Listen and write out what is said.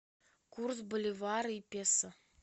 курс боливара и песо